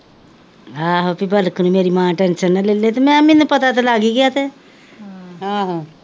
ਆਹੋ ਭਈ ਪੱਲਕ ਨੂੰ ਮੇਰੀ ਮਾ ਟੈਂਸ਼ਨ ਨਾਂ ਲੇਲੇ ਮੇਲੇਆ ਮੈਂਨੂੰ ਪਤਾ ਤਾਂ ਲੱਗ ਈ ਗਿਆ ਤੇ,